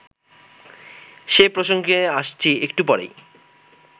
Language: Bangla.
সে প্রসঙ্গে আসছি একটু পরেই